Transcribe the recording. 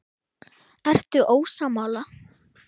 Ertu ósammála?